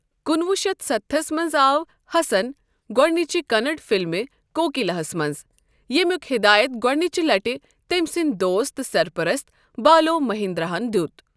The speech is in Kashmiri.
کُنہٕ وُہ شتھ ستستھس منز آو حسن گوڈنِچہِ کننڈ فَلمہِ کوکِلا ہس منزییمِیُک ہدایت گوڈنِچہِ لٹہِ تٔمۍ سٕندۍ دوست تہٕ سرپرست بالوؔ مہیندراہن دِیوُت ۔